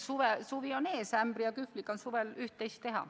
Suvi on ees, ämbri ja kühvliga on suvel üht-teist teha.